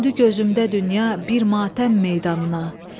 Döndü gözümdə dünya bir matəm meydanına.